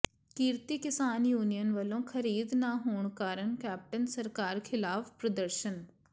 ਕਿਰਤੀ ਕਿਸਾਨ ਯੂਨੀਅਨ ਵੱਲੋਂ ਖ਼ਰੀਦ ਨਾ ਹੋਣ ਕਾਰਨ ਕੈਪਟਨ ਸਰਕਾਰ ਿਖ਼ਲਾਫ਼ ਪ੍ਰਦਰਸ਼ਨ